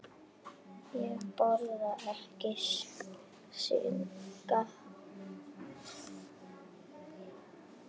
Ég borða ekki snigla.